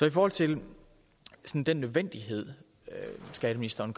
i forhold til den nødvendighed skatteministeren